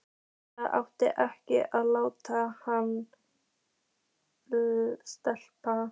Það átti ekki að láta hann sleppa!